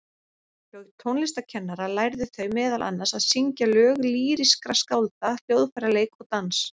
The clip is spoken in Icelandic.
Hjá tónlistarkennara lærðu þau meðal annars að syngja lög lýrískra skálda, hljóðfæraleik og dans.